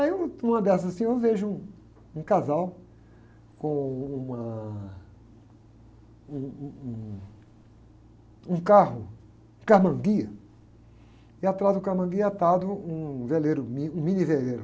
Aí, um, numa dessas assim, eu vejo um, um casal com uma, um, um, um, um carro, karmann ghia, e atrás do karmann ghia atado um veleiro, um mini veleiro.